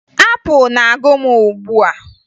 Apụ na-agụ m ugbua